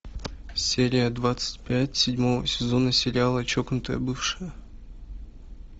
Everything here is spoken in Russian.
серия двадцать пять седьмого сезона сериала чокнутая бывшая